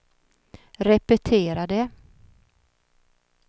repetera det